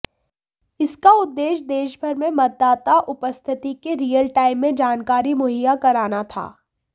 इसका उद्देश्य देशभर में मतदाता उपस्थिति की रियलटाइम में जानकारी मुहैया कराना था